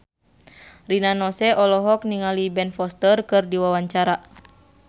Rina Nose olohok ningali Ben Foster keur diwawancara